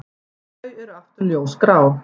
Þau eru aftur ljósgrá.